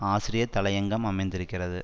ஆசிரியர் தலையங்கம் அமைந்திருக்கிறது